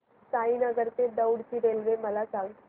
साईनगर ते दौंड ची रेल्वे मला सांग